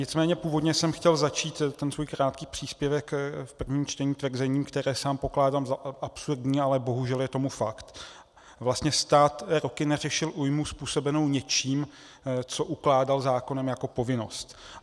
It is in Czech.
Nicméně původně jsem chtěl začít ten svůj krátký příspěvek v prvním čtení tvrzením, které sám pokládám za absurdní, ale bohužel je tomu fakt, vlastně stát roky neřešil újmu způsobenou něčím, co ukládal zákonem jako povinnost.